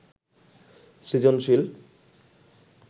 সৃজনশীল